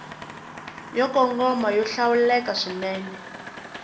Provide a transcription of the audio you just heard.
yo kongoma yo hlawuleka swinene